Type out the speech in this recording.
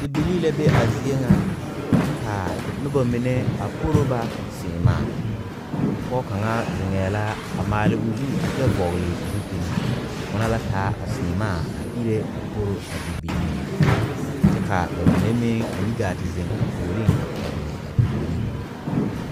Bibile be a zie ŋa ka noba mine a poro ba saɛmaa ,Pɔge kaŋa biŋe la a maali o zu a kyɛ vɔgle zupele ona la taa a saɛmaa a iri a poro a bibile ŋa, kyɛ ka ba mine meŋ a yi gaa te zeŋ a puori a pegle a bibile mine.